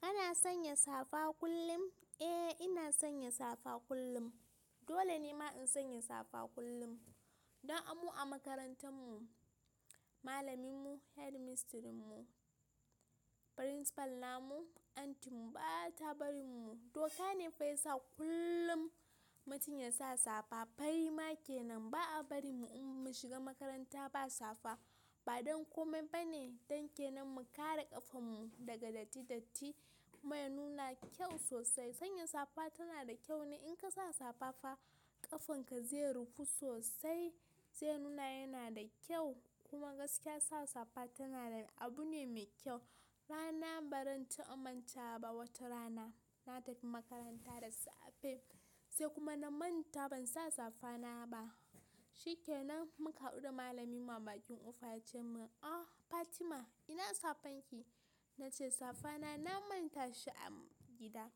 Kana sanya safa kullum? Eh ina sanya safa kullum. Dole ne ma in sanya safa kullum. Don amu a makarantar mu, malamin mu, hedimistirin mu, principal na mu, aunty mu ba ta bari mu. Doka ne fa ya sa kullum mutum ya sa safa. Fari ma ke nan. Ba a bari mu in mun shiga makaranta ba safa. Ba don komai ba ne, dan ke nan mu kare ƙafan mu daga datti datti, kuma ya nuna kyau sosai. Sanya safa tana da kyau ne. In ka sa safa fa ƙafan ka zai rufe sosai, zai nuna yana da kyau kuma gaskiya sa safa tana da abu ne mai kyau. Rana ba zan ta aminta ba, wata rana na tafi makaranta da safe sai kuma na manta ban sa safa na ba. Shi ke nan muka haɗu da malamin mu a bakin kofa ya ce min "ah Fatima ina safan ki?" Na ce safa na, na manta shi a gida.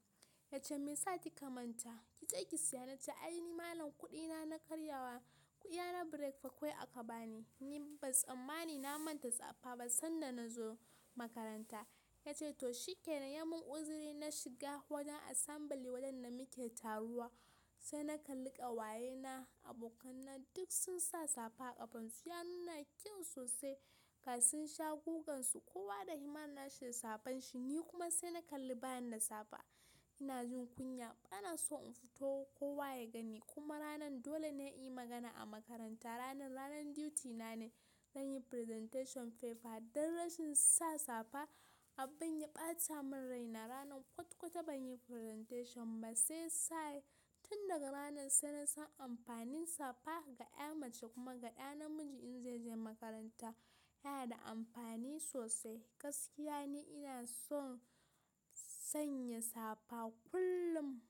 Ya ce "me ya sa ki ka manta? Ki je ki siya". Na ce ai ni malam kuɗi na, na karya wa kuya na breakfa kwai aka bani. Ni ba tsammani na manta safa ba sanda na zo makaranta. Ya ce to shi ke nan ya mun uzuri na shiga wajen asambili wajen da muke taruwa. Sai na kalli ƙawaye na, abokan na duk sun sa safa a ƙafansu. Ya nuna kyau sosai. Ka sun sha gogansu kowa da himma na shi da safan shi. Ni kuma sai na kalli bayan da safa ina jin kunya. Ba na so in fito ko wa ya gani kuma ranan dole ne a yi magana a makaranta. Ranan, ranan diti na ne. Zan yi presentation paper. Dan rashin sa safa, abin ya ɓata min raina. Ranan kwat kwata ban yi presentation ba. Sai sa'ad tun daga ranan sai na san amfanin safa ga ƴa mace kuma ga ƴa namiji in zai je makaranta yana da amfani sosai. Gaskiya ne ina son sanya safa kullum.